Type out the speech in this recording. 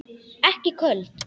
Ekki köld.